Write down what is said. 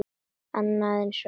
Annað eins hjá Sæunni.